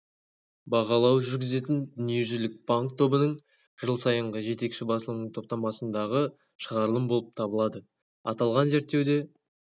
бағалау жүргізетін дүниежүзілік банк тобының жыл сайынғы жетекші басылымының топтамасындағы шығарылым болып табылады аталған зерттеуде